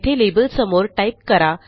येथे लेबलसमोर टाईप करा